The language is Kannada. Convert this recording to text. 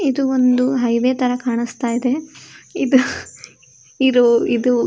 ಇದು ಒಂದು ಹೈವೇ ತರ ಕಾಣಿಸ್ತಾ ಇದೆ. ಇದು ಇದು--